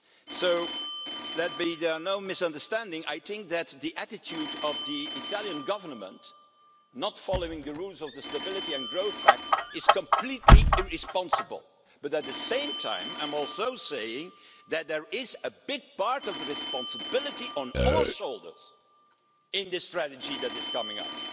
So, let there be no misunderstanding, I think that the attitude of the Italian Government in not following the rules of the Stability and Growth Pact is completely irresponsible. But, at the same time, I'm also saying that a big share of the responsibility rests on our shoulders in relation to the strategy that is coming